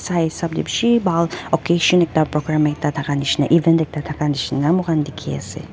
hai hisab te bishi baal occasion ekta prokai misna ewan misna ama khan dekhi ase.